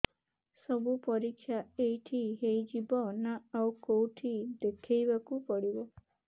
ସବୁ ପରୀକ୍ଷା ଏଇଠି ହେଇଯିବ ନା ଆଉ କଉଠି ଦେଖେଇ ବାକୁ ପଡ଼ିବ